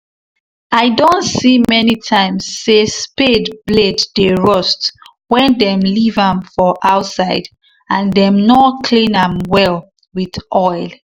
i doh see many times say spade blade dey rust wen them leave am for outside and them nor clean am well with oil